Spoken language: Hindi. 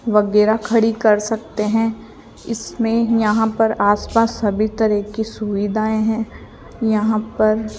वगैरा खड़ी कर सकते हैं इसमें यहां पर आसपास सभी तरह की सुविधाएं हैं यहां पर --